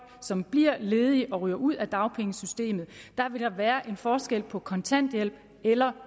som bliver ledige og ryger ud af dagpengesystemet der vil der være en forskel på kontanthjælp eller